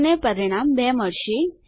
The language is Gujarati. તમને પરિણામ 2 મળશે